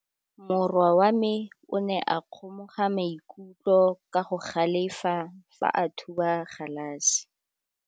Morwa wa me o ne a kgomoga maikutlo ka go galefa fa a thuba galase.